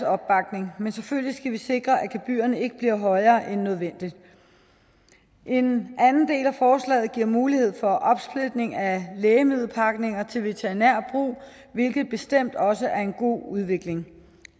opbakning men selvfølgelig skal vi sikre at gebyrerne ikke bliver højere end nødvendigt en anden del af forslaget giver mulighed for opsplitning af lægemiddelpakninger til veterinær brug hvilket bestemt også er en god udvikling